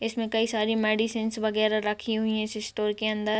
इसमें कई सारी मेडिसिंस वगैरह रखी हुई हैं इस स्टोर के अंदर।